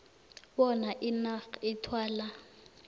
bona inac ithwale